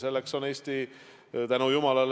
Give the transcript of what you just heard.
Eesti on – tänu jumalale!